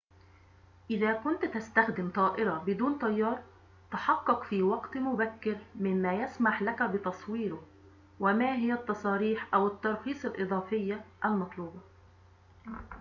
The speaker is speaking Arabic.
إذا كنت تستخدم طائرة بدون طيار تحقق في وقت مبكر مما يسمح لك بتصويره وما هي التصاريح أو الترخيص الإضافية المطلوبة